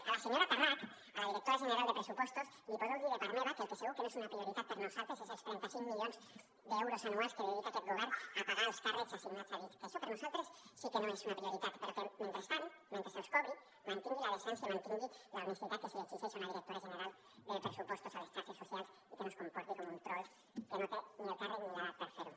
a la senyora tarrach a la directora general de pressupostos li podeu dir de part meva que el que segur que no és una prioritat per a nosaltres són els trenta cinc milions d’euros anuals que dedica aquest govern a pagar alts càrrecs assignats a dit que això per a nosaltres sí que no és una prioritat però que mentrestant mentre els cobri mantingui la decència mantingui l’honestedat que se li exigeix a una directora general de pressupostos a les xarxes socials i que no es comporti com un trol que no té ni el càrrec ni l’edat per fer ho